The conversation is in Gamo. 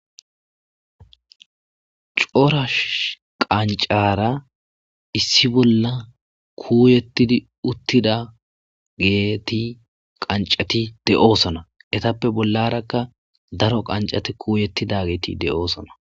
corash qancara issi bolla kuuyettidi uttida geeti qancati de7oosona etappe bollarakka daro qancati kuuyettida geeti de7oosona